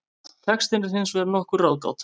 Textinn er hins vegar nokkur ráðgáta.